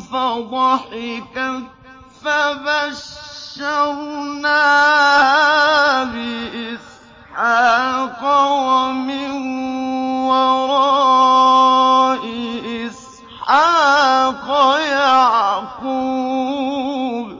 فَضَحِكَتْ فَبَشَّرْنَاهَا بِإِسْحَاقَ وَمِن وَرَاءِ إِسْحَاقَ يَعْقُوبَ